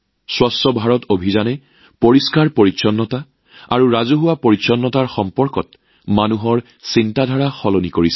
স্বচ্ছ ভাৰত অভিযানে স্বচ্ছতা আৰু জনসাধাৰণৰ স্বচ্ছতাতাৰ সন্দৰ্ভত মানুহৰ মানসিকতা সলনি কৰিছে